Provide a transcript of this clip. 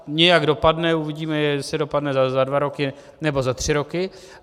Nějak dopadne, uvidíme, jestli dopadne za dva roky, nebo za tři roky.